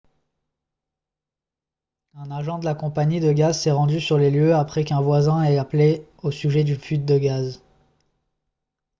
un agent de la compagnie de gaz s'est rendu sur les lieux après qu'un voisin ait appelé au sujet d'une fuite de gaz